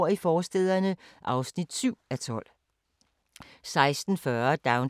04:30: Danmarks skønneste sommerhus – Sydjylland